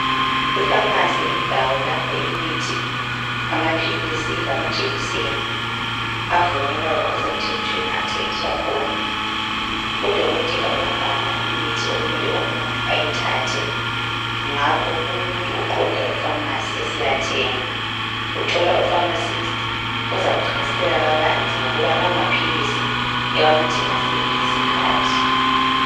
Ifamasi yindawo lapho imithi, amaphilisi, lamajekiseni, avunyelwayo ngokusemthethweni athengiswa khona. Udokotela uyabhala imithi okumele umuntu ayithathe, ngakho umuntu uqonda efamasi esiyathenga. Uthola ufamasisti ozamchasisela kabanzi ngokuba lawo maphilisi ewanathe ngasiphi isikhathi.